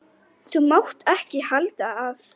Þú mátt ekki halda að.